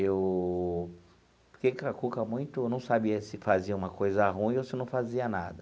Eu fiquei com a cuca muito, eu não sabia se fazia uma coisa ruim ou se não fazia nada.